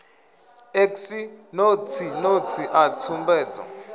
x notsi notsi a tsumbedzo